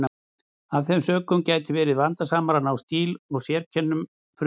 Af þeim sökum gæti verið vandasamara að ná stíl og sérkennum frumtextans.